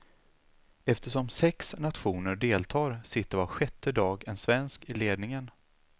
Eftersom sex nationer deltar sitter var sjätte dag en svensk i ledningen.